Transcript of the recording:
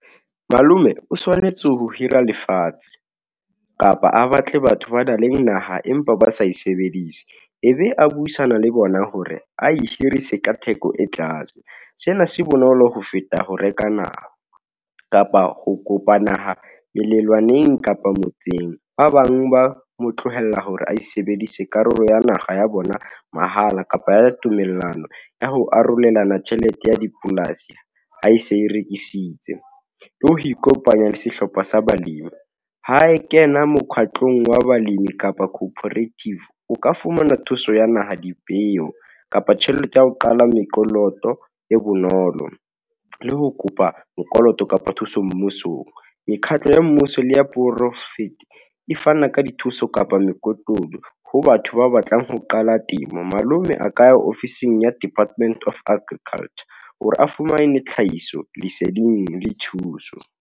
Malome o tshwanetse ho hira lefatshe, kapa a batle batho ba nang le naha, empa ba sa e sebedise. E be a buisana le bona hore a e hirise ka theko e tlase. Sena se bonolo ho feta ho reka naha, kapa ho kopa naha belelwaneng kapa motseng, ba bang ba mo tlohela hore a sebedise karolo ya naha ya bona mahala, kapa tumellano ya ho arolelana tjhelete ya dipolasi, ha e se e rekisitse, le ho ikopanya le sehlopha sa balemi ha e kena mokgatlong wa balemi kapa coperative, o ka fumana thuso ya naha, dipeo, kapa tjhelete ya ho qala mekoloto e bonolo le ho kopa mokoloto kapa thuso mmusong. Mekhatlo ya mmuso le ya poraefete e fana ka dithuso kapa mekotulo, ho batho ba batlang ho qala temo. Malome a ka ya ofising ya Department of Agriculture hore a fumane tlhahiso leseding le thuso.